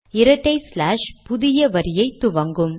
இரட்டை ஸ்லாஷ் பின்சாய் கோடுகள் புதிய வரியை துவங்கும்